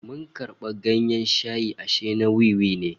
Mun karbi ganyen shayi ashe na wiwi ne